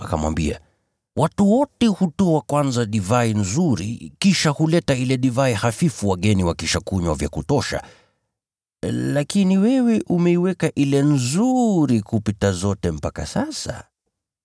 akamwambia, “Watu wote hutoa kwanza divai nzuri, kisha huleta ile divai hafifu wageni wakisha kunywa vya kutosha, lakini wewe umeiweka ile nzuri kupita zote mpaka sasa.”